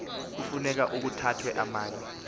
kufuneka ukuthatyathwe amanye